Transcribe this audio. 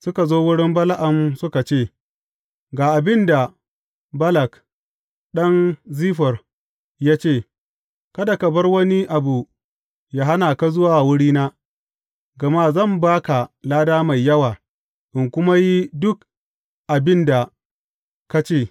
Suka zo wurin Bala’am suka ce, Ga abin da Balak ɗan Ziffor ya ce, Kada ka bar wani abu yă hana ka zuwa wurina, gama zan ba ka lada mai yawa in kuma yi duk abin da ka ce.